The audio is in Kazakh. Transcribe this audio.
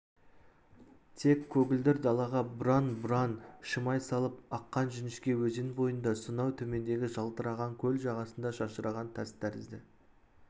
тек көгілдір далаға бұраң-бұраң шимай салып аққан жіңішке өзен бойында сонау төмендегі жалтыраған көл жағасында шашыраған тас тәрізді